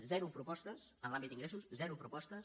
zero propostes en l’àmbit d’ingressos zero propostes